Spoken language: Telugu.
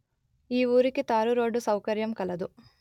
ఈ ఊరికి తారు రోడ్డు సౌకర్యము కలదు